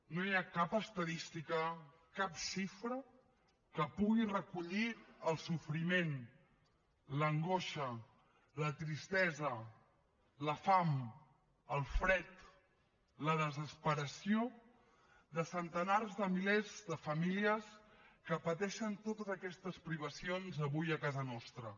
no hi ha cap estadística cap xifra que pugui recollir el sofriment l’angoixa la tristesa la fam el fred la desesperació de centenars de milers de famílies que pateixen totes aquestes privacions avui a casa nostra